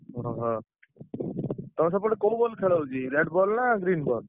ଓହୋ! ତମ ସେପଟେ କୋଉ ball ଖେଳ ହଉଛି red ball ନା green ball ?